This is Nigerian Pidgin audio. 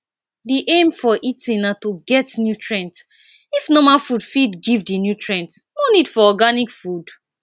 di aim for eating na to get nutrient if normal food fit give di nutrients no need for organic food